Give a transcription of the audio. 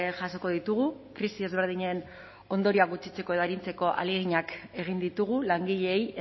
jasoko ditugu krisi ezberdinen ondorioak gutxitzeko edo arintzeko ahaleginak egin ditugu langileei